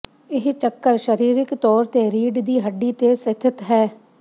ਇਹ ਚੱਕਰ ਸਰੀਰਿਕ ਤੌਰ ਤੇ ਰੀੜ੍ਹ ਦੀ ਹੱਡੀ ਤੇ ਸਥਿਤ ਹੈ